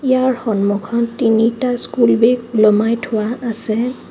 ইয়াৰ সন্মুখত তিনিটা school bag ওলমাই থোৱা আছে.